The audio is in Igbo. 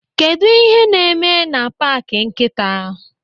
Kedụ ihe n'ime na paaki nkịta?